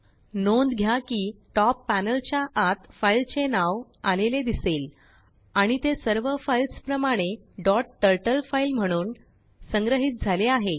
नोंद घ्याकिtop पॅनेल च्या आत फाईलचे नाव आलेले दिसेल आणि ते सर्व फाइल्स प्रमाणेडॉट टरटल फाईल म्हणून संग्रहित झालेआहे